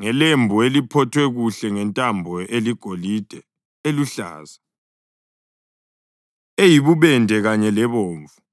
ngelembu eliphothwe kuhle ngentambo eligolide, eluhlaza, eyibubende kanye lebomvu.